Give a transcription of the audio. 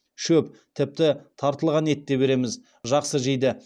шөп тіпті тартылған ет те береміз жақсы жейді